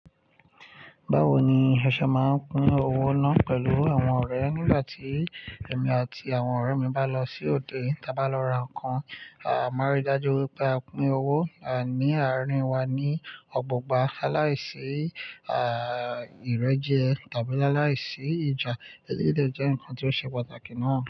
Bawo ni a ṣe máa ń pín owó naa pẹ̀lú àwọn ọrẹ nígbàtí emi àti àwọn ọrẹ mi bá lọ sí òde, tí a bá lọ ra ǹkan, a máa ríi dájú wípé a pín owó ni àárín wa ni ọgbọgba, alaise, aa, ìrẹ́jẹ tabi alaisi ija, eléyìí dẹ̀ jẹ́ nkan ti o ṣe pàtàkì náà.